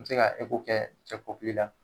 N bɛ se ka kɛ cɛ kɔkili la.